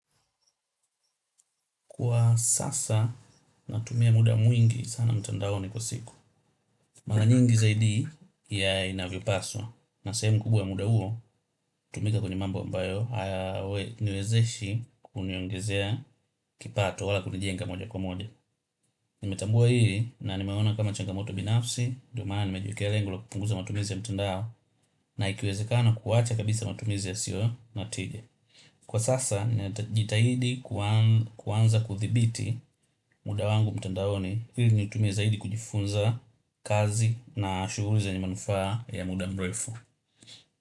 Kwa sasa, natumia muda mwingi sana mtandaoni kwa siku. Mara nyingi zaidi ya inavyo paswa. Na sehemu kubwa muda huo, hutumika kwenye mambo ambayo, haya niwezeshi kuniongezea kipato wala kunijenga moja kwa moja. Nimetambua hili na nimeona kama changamoto binafsi, ndo maana nimejiwekea lengo la kupunguza matumizi ya mtandao, na ikiwezekana kuwacha kabisa matumizi yasiyo na tige. Kwa sasa nitajitahidi kuanza kudhibiti mda wangu mtandaoni ili nitumie zaidi kujifunza kazi na shuhuli zenye manufaa ya mda mrefu.